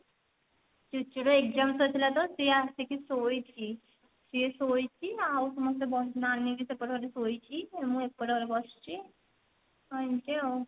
ଚୁଚୁ ର exam ଥିଲା ତ ସେ ଆସିକି ଶୋଇଛି ସିଏ ଶୋଇଛି ଆଉ ସମସ୍ତେ ନାନୀ ବି ସେପଟ ଘରେ ଶୋଇଛି ଆଉ ମୁଁ ଏପଟ ଘରେ ବସିଛି ଏମତି ଆଉ